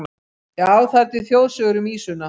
Já, það eru til þjóðsögur um ýsuna.